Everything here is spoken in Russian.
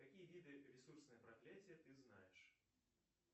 какие виды ресурсное проклятие ты знаешь